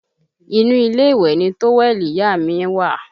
Inú ilé ìwẹ̀ ni tówẹ́ẹ̀lì ìyá à mi wà